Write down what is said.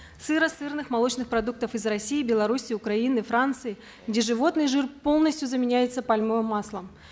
сыра сырных молочных продуктов из россии белоруссии украины франции где животный жир полностью заменяется пальмовым маслом